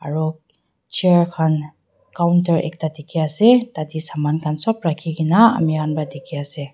aro chair khan counter ekta dikhiase tatae saman khan sop rakhikaena ami khan pa dikhiase.